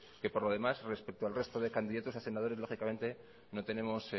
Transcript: que por lo demás respectos al resto de candidatos a senadores lógicamente no tenemos